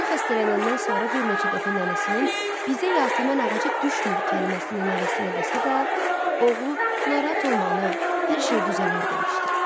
Oğlu xəstələnəndən sonra bir neçə dəfə nənəsinin "bizə yasəmən ağacı düşmür" kəlməsini nəvəsinə desə də, oğlu "narahat olma ana, hər şey düzələr" demişdi.